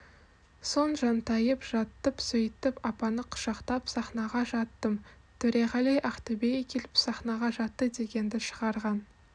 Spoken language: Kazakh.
соң жантайып жаттым сөйтіп апаны құшақтап сахнаға жаттым төреғали ақтөбеге келіп сахнаға жатты дегенді шығарған